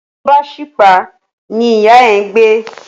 Ọmọ tó bá ṣípá ní ìyá ẹ̀ ń gbé